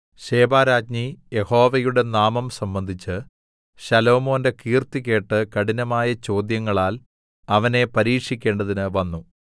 ശെബാരാജ്ഞി യഹോവയുടെ നാമം സംബന്ധിച്ച് ശലോമോന്റെ കീർത്തി കേട്ട് കഠിനമായ ചോദ്യങ്ങളാൽ അവനെ പരീക്ഷിക്കേണ്ടതിന് വന്നു